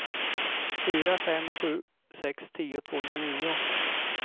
fyra fem sju sex tio tvåhundranio